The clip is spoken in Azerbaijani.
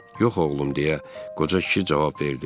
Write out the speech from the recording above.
Yox, oğlum, deyə qoca kişi cavab verdi.